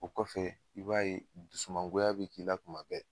O kɔfɛ i b'a ye dusumangoya b'i k'i la kuma bɛɛ